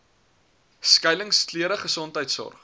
skuiling klere gesondheidsorg